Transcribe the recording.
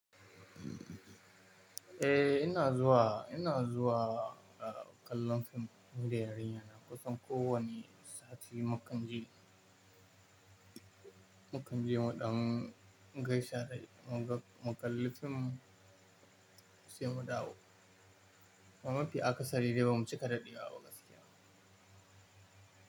Eh ina zuwa, ina zuwa kallon fim nida yarinyana kusan ko wane sati makonni, makonni biyu muɗam gaishe da mu ga mu kalli fim sai mu dawo. Ba mafi aka sari da ba mu cika daɗewa ba gaskiya.